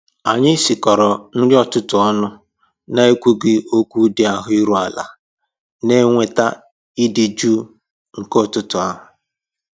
Anyị sikọrọ nri ụtụtụ ọnụ na ekwughị okwu dị ahụ iru ala, na enweta ịdị jụụ nke ụtụtụ ahụ